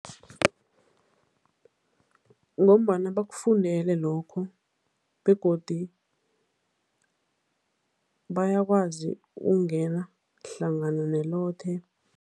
Ngombana bakufundele lokho begodi bayakwazi ukungena hlangana nelothe.